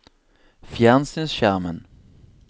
fjernsynsskjermen